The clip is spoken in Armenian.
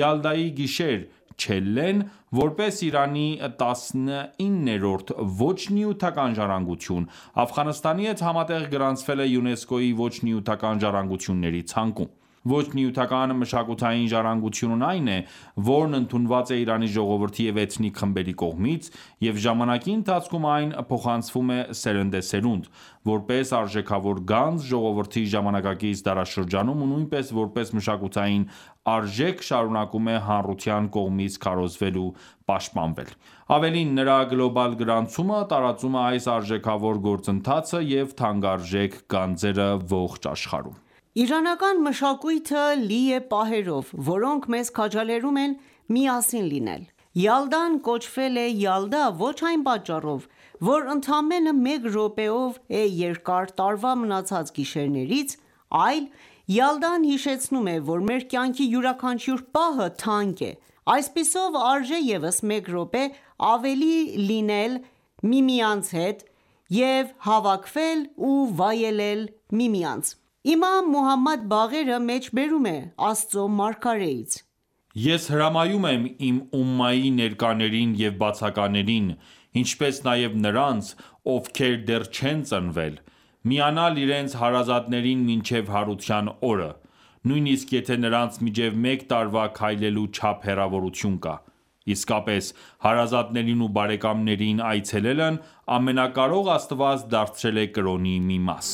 «Յալդայի գիշեր / Չելլեն» որպես Իրանի տասնիններորդ ոչ նյութական ժառանգություն, Աֆղանստանի հետ համատեղ գրանցվել է ՅՈՒՆԵՍԿՕ-ի ոչ նյութական ժառանգությունների ցանկում։ Ոչ նյութական մշակութային ժառանգությունն այն է, որն ընդունված է Իրանի ժողովրդի և էթնիկ խմբերի կողմից, և ժամանակի ընթացքում այն փոխանցվում է սերնդեսերունդ՝ որպես արժեքավոր գանձ ժողովրդի ժամանակակից դարաշրջանում ու նույնպես որպես մշակութային արժեք շարունակում է հանրության կողմից քարոզվել ու պաշտպանվել։ Ավելին, նրա գլոբալ գրանցումը տարածում է այս արժեքավոր գործընթացը և թանկարժեք գանձերը ողջ աշխարհում: Իրանական մշակույթը լի է պահերով, որոնք մեզ քաջալերում են միասին լինել: Յալդան կոչվել է Յալդա ոչ այն պատճառով, որ ընդամենը մեկ րոպեով է երկար տարվա մնացած գիշերներից, այլ Յալդան հիշեցնում է,որ մեր կյանքի յուրաքանչյուր պահը թանկ է: Այսպիսով, արժե ևս մեկ րոպե ավել լինելու համար հավաքվել և վայելել միասին լինելը: Իմամ Մուհամմադ Բաղերը մեջբերում է Աստծո մարգարեից.«Ես հրամայում եմ իմ ումմայի ներկաներին և բացականերին, ինչպես նաև նրանց, ովքեր դեռ չեն ծնվել, միանալ իրենց հարազատներին մինչև Հարության օրը, նույնիսկ եթե նրանց միջև մեկ տարվա քայլելու չափ հեռավորություն կա: Իսկապես, հարազատներին ու բարեկամներին այցելելն Ամենակարող Աստված դարձրել է կրոնի մի մաս»: